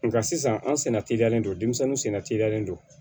Nka sisan an senna teliyalen don denmisɛnninw sen teliyalen don